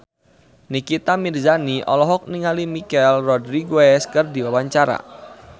Nikita Mirzani olohok ningali Michelle Rodriguez keur diwawancara